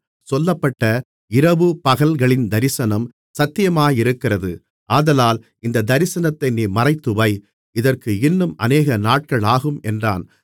சொல்லப்பட்ட இரவுபகல்களின் தரிசனம் சத்தியமாயிருக்கிறது ஆதலால் இந்தத் தரிசனத்தை நீ மறைத்துவை அதற்கு இன்னும் அநேகநாட்கள் ஆகும் என்றான்